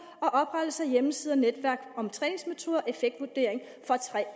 og oprettelse af hjemmesider og netværk om træningsmetoder og effektvurdering for